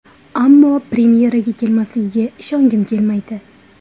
Ammo premyeraga kelmasligiga ishongim kelmaydi.